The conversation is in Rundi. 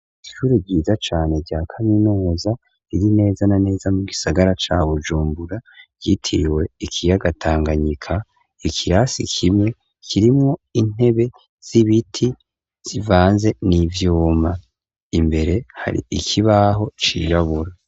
Ishure ryiza cane rya kaminuza riri neza na neza mu gisagara ca Bujumbura ryitiriwe ikiyaga Tanganyika, ikirasi kimwe kirimwo intebe z'ibiti zivanze n'ivyuma, imbere hari ikibaho cirabura.